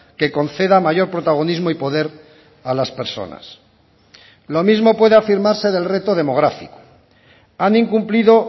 que conceda mayor protagonismo y poder a las personas lo mismo puede afirmarse del reto demográfico han incumplido